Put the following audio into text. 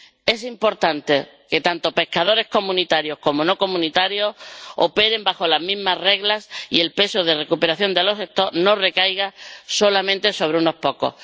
Es importante que tanto pescadores comunitarios como no comunitarios operen bajo las mismas reglas y que el peso de recuperación de las poblaciones no recaiga solamente sobre unos pocos.